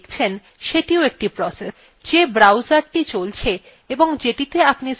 যেই browserthe চলছে এবং যেটিতে আপনি spoken tutorial websitethe খুলেছেন সেটিও একটি process